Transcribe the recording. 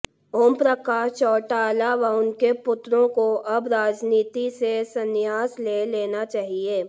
ओमप्रकाश चौटाला व उनके पुत्रों को अब राजनीति से संन्यास ले लेना चाहिए